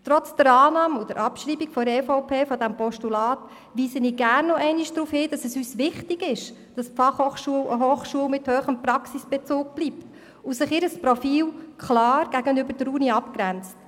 Trotz der Annahme und Abschreibung dieses Postulats durch die EVP weise ich gerne nochmals darauf hin, dass es uns wichtig ist, dass die FH eine Hochschule mit hohem Praxisbezug bleibt und sich ihr Profil klar von der Universität abgrenzt.